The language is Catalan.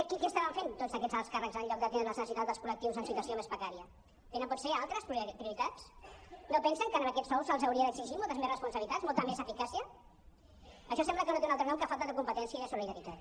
què estaven fent tots aquests alts càrrecs en lloc d’atendre les necessitats dels col·lectius en situació més precària tenen potser altres prioritats no pensen que amb aquests sous se’ls hauria d’exigir moltes més responsabilitats molta més eficàcia això sembla que no té un altre nom que falta de competència i de solidaritat